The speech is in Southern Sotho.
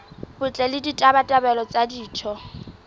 botle le ditabatabelo tsa ditho